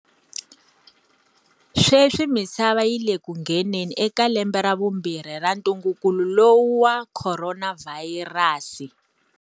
Sweswi misava yi le ku ngheneni eka lembe ra vumbirhi ra ntunguku lowu wa khoronavhayirasi.